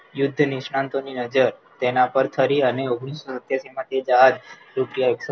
યુદ્ધ નિષ્ણાતો ની નજર તેના પર ફરી અને અને તે જહાજ